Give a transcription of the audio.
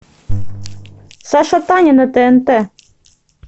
саша таня на тнт